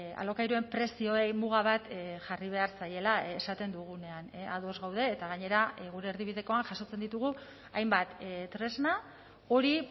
alokairuen prezioei muga bat jarri behar zaiela esaten dugunean ados gaude eta gainera gure erdibidekoan jasotzen ditugu hainbat tresna hori